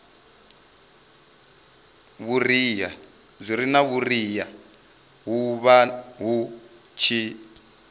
vhuriha hu vha hu tshi